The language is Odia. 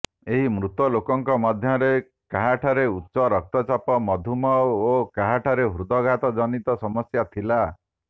ଏହି ମୃତ ଲୋକଙ୍କ ମଧ୍ୟରେ କାହାଠାରେ ଉଚ୍ଚରକ୍ତଚାପ ମଧୁମେହ ଓ କାହାଠାରେ ହୃଦଘାତଜନିତ ସମସ୍ୟା ଥିଲା